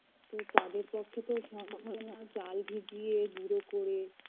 তো তাদের পক্ষে তো সম্ভব হয় না চাল ভিজিয়ে গুরো করে